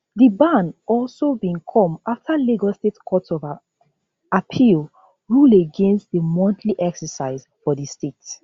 di ban also bin come afta lagos state court of appeal rule against di monthly exercise for di state